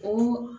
O